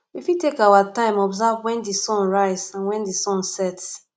we fit take our time observe when di sun rise and when di sun sets